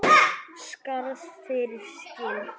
Skarð fyrir skildi